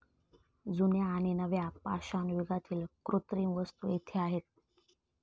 जुन्या आणि नव्या पाषाणयुगातील कृत्रिम वस्तू येथे आहेत.